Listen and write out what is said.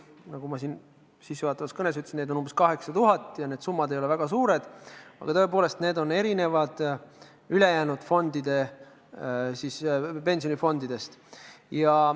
Nagu ma sissejuhatavas kõnes ütlesin, on neid umbes 8000 ja need summad ei ole väga suured, aga tõepoolest, nende lepingute puhul erineb olukord ülejäänud pensionifondidest.